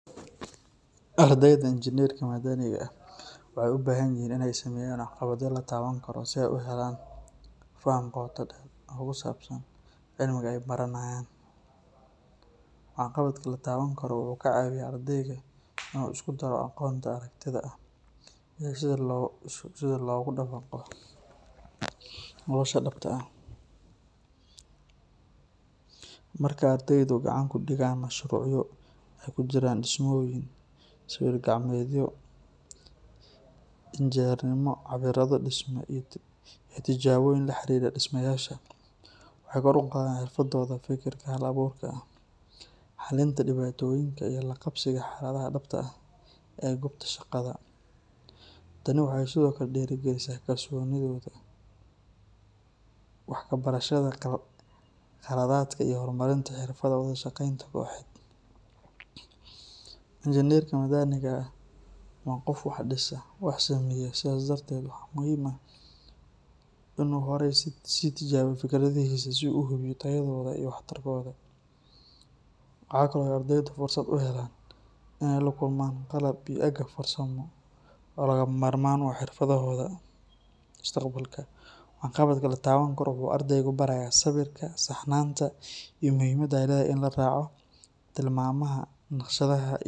Ardeyda injineerka madaniga ah waxay u baahan yihiin in ay sameeyaan waxqabadyo la taaban karo si ay u helaan faham qoto dheer oo ku saabsan cilmiga ay baranayaan. Waxqabadka la taaban karo wuxuu ka caawiyaa ardayga in uu isku daro aqoonta aragtida ah iyo sida loogu dabaqo nolosha dhabta ah. Marka ardeydu gacanta ku dhigaan mashruucyo ay ku jiraan dhismooyin, sawir-gacmeedyo injineernimo, cabbiraado dhisme iyo tijaabooyin la xiriira dhismayaasha, waxay kor u qaadaan xirfadooda fekerka hal abuurka ah, xalinta dhibaatooyinka iyo la qabsiga xaaladaha dhabta ah ee goobta shaqada. Tani waxay sidoo kale dhiirrigelisaa kalsoonidooda, wax ka barashada khaladaadka iyo horumarinta xirfadaha wada shaqeynta kooxeed. Injineerka madaniga ah waa qof wax dhisa, wax saameeya, sidaas darteed waxaa muhiim ah in uu horay u sii tijaabiyo fikradihiisa si uu u hubiyo tayadooda iyo waxtarkooda. Waxa kale oo ay ardeydu fursad u helaan in ay la kulmaan qalab iyo agab farsamo oo lagama maarmaan u ah xirfaddooda mustaqbalka. Waxqabadka la taaban karo wuxuu ardayga barayaa sabirka, saxnaanta, iyo muhiimadda ay leedahay in la raaco tilmaamaha naqshadaha.